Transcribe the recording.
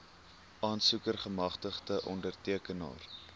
aansoeker gemagtigde ondertekenaar